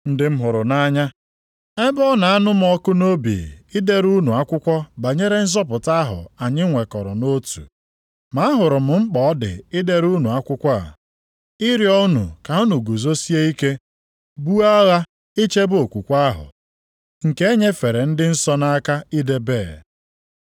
Ndị m hụrụ nʼanya, ebe ọ na-anụ m ọkụ nʼobi idere unu akwụkwọ banyere nzọpụta ahụ anyị nwekọrọ nʼotu, ma ahụrụ m mkpa ọ dị idere unu akwụkwọ a, ịrịọ unu ka unu guzosie ike buo agha ichebe okwukwe ahụ, nke e nyefere ndị nsọ nʼaka idebe.